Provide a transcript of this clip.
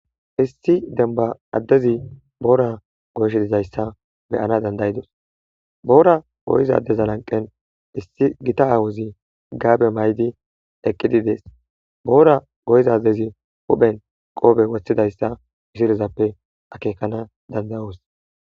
Issi demiba addezi boora goysh dizayssa beyana dandayidus boora goyizadeza lanqen issi gita awuzi gaabe may7di eqqidi dees boora goyizadezi huphen qoobe wothidayssa ishirezappe akeekana dandayos